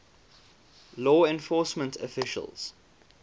law enforcement officials